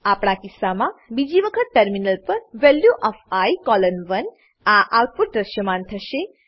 આપણા કિસ્સામાં બીજી વખત ટર્મિનલ પર વેલ્યુ ઓએફ આઇ કોલોન 1 આ આઉટપુટ દ્રશ્યમાન થશે